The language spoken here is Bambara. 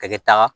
A kɛta